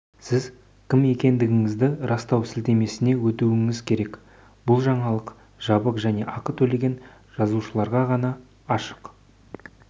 сіз кім екендігіңізді растау сілтемесіне өтуіңіз керек бұл жаңалық жабық және ақы төлеген жазылушыларға ғана ашық